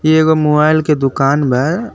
एगो मोबाइल के दुकान बा।